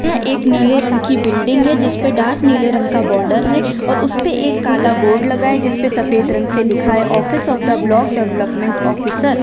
यह एक नीले रंग की बिल्डिंग है जिस पे डार्क नीले रंग का बॉर्डर है और उस पे एक काला बोर्ड लगा है जिसपे सफेद रंग से लिखा है office of the block development officer.